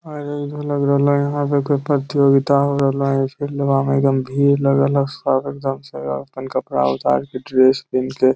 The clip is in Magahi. अरे इहो लग रहले ये यहां पर कोई प्रतियोगिता हो रहले हेय इसलिए फील्डवा मे एकदम भीड़ लगल हेय सब एकदम से अपन कपड़ा उतार के ड्रेस पिहीन के --